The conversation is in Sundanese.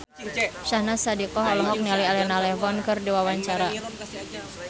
Syahnaz Sadiqah olohok ningali Elena Levon keur diwawancara